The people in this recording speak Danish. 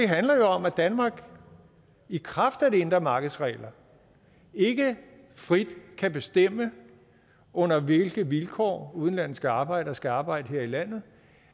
handler jo om at danmark i kraft af det indre markeds regler ikke frit kan bestemme under hvilke vilkår udenlandske arbejdere skal arbejde her i landet